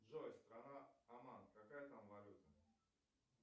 джой страна оман какая там валюта